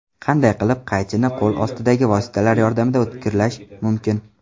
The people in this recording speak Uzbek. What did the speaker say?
Qanday qilib qaychini qo‘l ostidagi vositalar yordamida o‘tkirlash mumkin?.